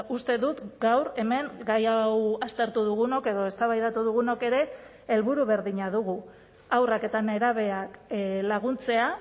uste dut gaur hemen gai hau aztertu dugunok edo eztabaidatu dugunok ere helburu berdina dugu haurrak eta nerabeak laguntzea